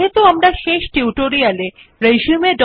সুতরাং দেয় শব্দ নির্বাচন করে অ্যালিগন লেফ্ট ক্লিক করুন